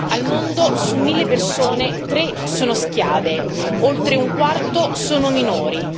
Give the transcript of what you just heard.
Nel mondo su mille persone tre sono schiave, oltre un quarto sono minori.